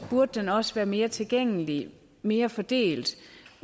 burde den også være mere tilgængelig mere fordelt